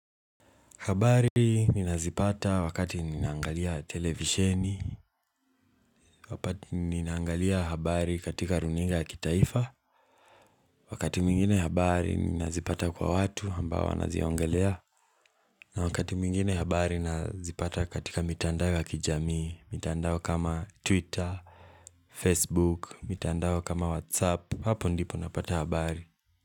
Habari ninazipata wakati ninaangalia televisheni, wakati ninaangalia habari katika runinga ya kitaifa, wakati mwingine habari ninazipata kwa watu ambao wanaziongelea, na wakati mwingine habari nazipata katika mitandao ya kijamii mitandao kama twitter, facebook, mitandao kama whatsapp, hapo ndipo napata habari.